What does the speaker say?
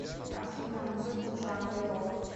афина музыку в жанре рок